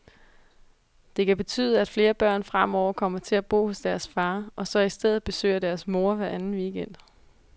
Det kan betyde, at flere børn fremover kommer til at bo hos deres far, og så i stedet besøger deres mor hver anden weekend.